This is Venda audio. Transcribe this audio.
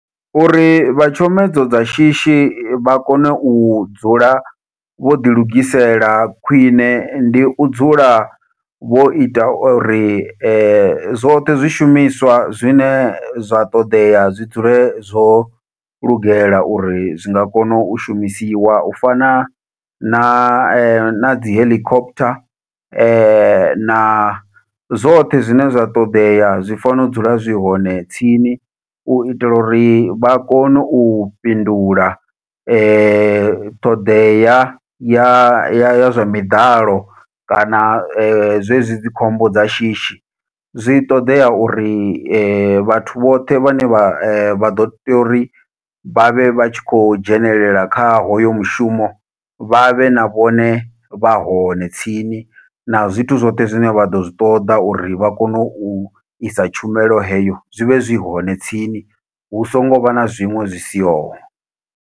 Uri vha tshomedzo dza shishi vha kone u dzula vho ḓi lugisela khwiṋe, ndi u dzula vho ita uri zwoṱhe zwishumiswa zwine zwa ṱoḓea zwi dzule zwo lugela uri zwi nga kona u shumisiwa u fana na na dzi heḽikophutha, na zwoṱhe zwine zwa ṱoḓea zwi fanela u dzula zwi hone tsini. U itela uri vha kone u fhindula ṱhoḓea ya ya zwa miḓalo kana zwezwi dzi khombo dza shishi, zwi ṱodea uri vhathu vhoṱhe vhane vha vha ḓo tea uri vha vhe vha tshi khou dzhenelela kha hoyo mushumo vha vhe na vhone vha hone tsini na zwithu zwoṱhe zwine vha ḓo zwi ṱoḓa uri vha kone u isa tshumelo heyo zwivhe zwi hone tsini hu songo vha na zwiṅwe zwi siho.